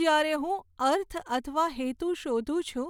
જ્યારે હું અર્થ અથવા હેતુ શોધું છું